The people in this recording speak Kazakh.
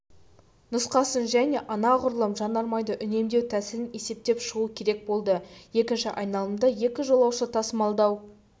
нұсқасын және анағұрлым жанармайды үнемдеу тәсілін есептеп шығу керек болды екінші айналымда екі жолаушы тасымалдау